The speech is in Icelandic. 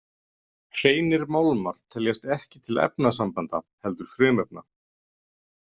Hreinir málmar teljast ekki til efnasambanda heldur frumefna.